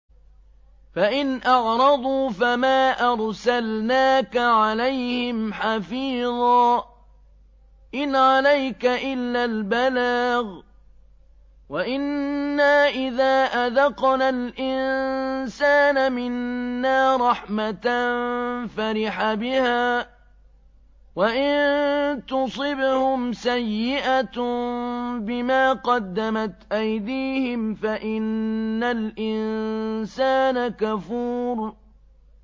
فَإِنْ أَعْرَضُوا فَمَا أَرْسَلْنَاكَ عَلَيْهِمْ حَفِيظًا ۖ إِنْ عَلَيْكَ إِلَّا الْبَلَاغُ ۗ وَإِنَّا إِذَا أَذَقْنَا الْإِنسَانَ مِنَّا رَحْمَةً فَرِحَ بِهَا ۖ وَإِن تُصِبْهُمْ سَيِّئَةٌ بِمَا قَدَّمَتْ أَيْدِيهِمْ فَإِنَّ الْإِنسَانَ كَفُورٌ